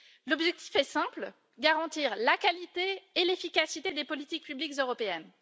L'objectif est simple garantir la qualité et l'efficacité des politiques publiques européennes.